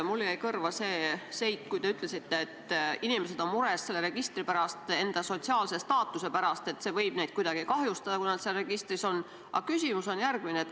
Mulle jäi kõrva see, kui te ütlesite, et inimesed on mures selle registri pärast ja enda sotsiaalse staatuse pärast, et see võib neid kuidagi kahjustada, kui nad seal registris on.